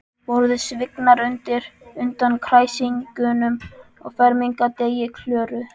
Borðið svignar undan kræsingunum á fermingardegi Klöru.